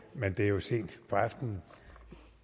men det er jo sent på aftenen